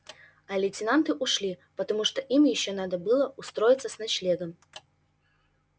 а лейтенанты ушли потому что им ещё надо было устроиться с ночлегом